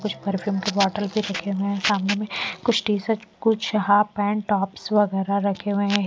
कुछ परफ्यूम के बॉटल भी फेके हुए हैं सामने में कुछ टीशर्ट कुछ हाफ पैंट टॉप्स वगैरह रखे हुए हैं।